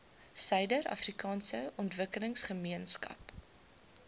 suider afrikaanse ontwikkelingsgemeenskap